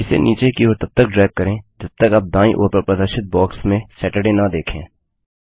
इसे नीचे की ओर तब तक ड्रैग करें जब तक आप दाईं ओर पर प्रदर्शित बॉक्स में सतुर्दय न देखें